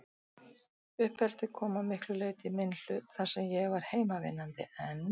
Uppeldið kom að miklu leyti í minn hlut, þar sem ég var heimavinnandi, en